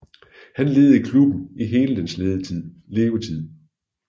Han ledede klubben i hele dens levetid